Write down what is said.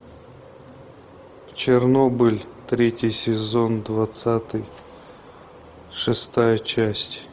чернобыль третий сезон двадцатый шестая часть